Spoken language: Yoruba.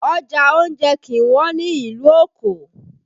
Ọjà oúnjẹ kì í wọ́n ní ìlú Òkò